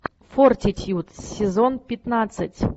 фортитьюд сезон пятнадцать